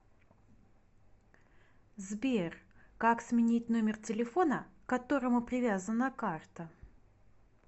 сбер как сменить номер телефона к которому привязана карта